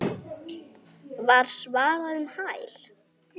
var svarað um hæl.